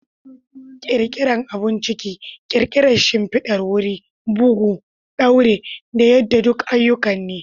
Ƙirƙirar abun ciki, ƙirar shimfidar wuri, bugu, ɗaure, da yada duk ayyuka ne.